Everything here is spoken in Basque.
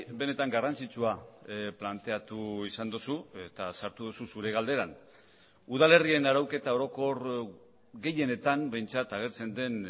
benetan garrantzitsua planteatu izan duzu eta sartu duzu zure galderan udalerrien arauketa orokor gehienetan behintzat agertzen den